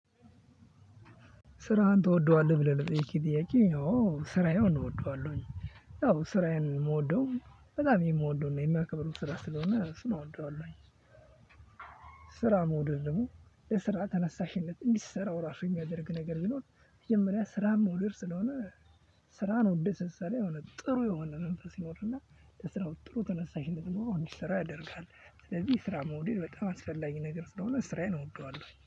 ስራህን ትወደዋለህ ብለህ ለጠየከኝ ጥያቄ አዎ ስራዬን እወደዋለሁ። ስራዬን የምወደው በጣም የምወደው እና የማከብረው ስራ ስለሆነ እሱን እወደዋለሁኝ። ስራ መውደድ ደግሞ ለስራ ተነሳሽነት እንዲሰራው ራሱ የሚያደርግ ነገር ቢኖር መጀመሪያ ስራ መውደድ ስለሆነ። ስራን ወደ ስሰራ የሆነ ጥሩ የሆነ የሆነ መንፈስ ይኖርህ እና ለስራው ጥሩ ተነሳሽነት ኖሮ እንድሰራ ያደርጋል። ስለዚህ ስራ መውደድ በጣም አስፈላጊ ነገር ስለሆነ ስራዬን እወደዋለሁ